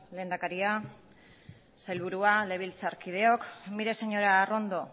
lehendakaria sailburua legebiltzarkideok mire señora arrondo